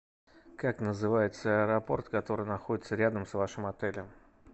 как называется аэропорт который находится рядом с вашим отелем